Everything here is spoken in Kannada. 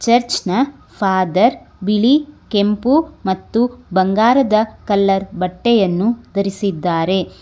ಚರ್ಚ್ನ ಫಾದರ್ ಬಿಳಿ ಕೆಂಪು ಮತ್ತು ಬಂಗಾರದ ಕಲರ್ ಬಟ್ಟೆಯನ್ನು ಧರಿಸಿದ್ದಾರೆ.